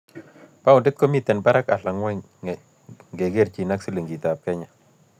Paondit komiten parak alan ng'wony ngekerchin ak silingiitap kenya